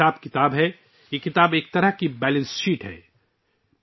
اس میں اکاؤنٹس کے ساتھ، یہ کتاب ایک قسم کی بیلنس شیٹ ہے